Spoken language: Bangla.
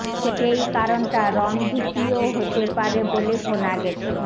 সেই কারণটা রঙ ভীতিও হতে পারে বলে শোনা গেছে